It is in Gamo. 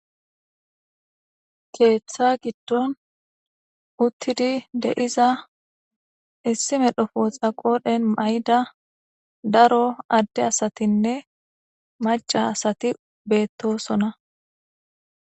Keeththa giddon uttidi deiza issi medhofo xaqodhen mayda daro adde asatinne maca asati beettosona.